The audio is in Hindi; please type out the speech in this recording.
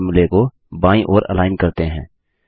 सभी फोर्मुले को बाईं ओर अलाइन करते हैं